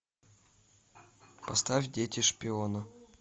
поставь дети шпиона